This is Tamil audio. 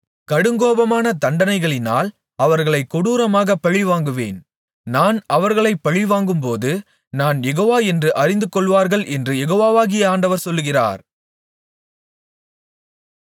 கடுங்கோபமான தண்டனைகளினால் அவர்களைக் கொடூரமாகப் பழிவாங்குவேன் நான் அவர்களைப் பழிவாங்கும்போது நான் யெகோவா என்று அறிந்துகொள்வார்கள் என்று யெகோவாகிய ஆண்டவர் சொல்லுகிறார்